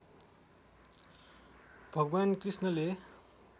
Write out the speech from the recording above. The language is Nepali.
भगवान् कृष्णले